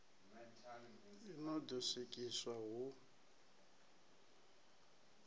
i no ḓo swikiswa hu